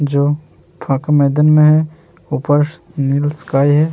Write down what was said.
जो फांक मैदान में है । ऊपर नील स्काई है ।